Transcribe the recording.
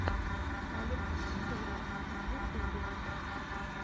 алекс тури в ютубе